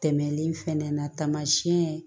Tɛmɛlen fɛnɛ na taamasiyɛn